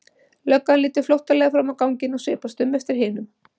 Löggan lítur flóttalega fram á ganginn og svipast um eftir hinum.